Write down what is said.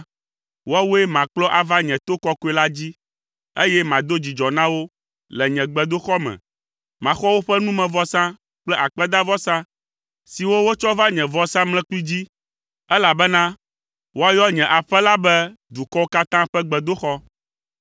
woawoe makplɔ ava nye to kɔkɔe la dzi, eye mado dzidzɔ na wo le nye gbedoxɔ me. Maxɔ woƒe numevɔsa kple akpedavɔsa siwo wotsɔ va nye vɔsamlekpui dzi, elabena woayɔ nye aƒe la be dukɔwo katã ƒe gbedoxɔ.”